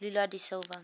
lula da silva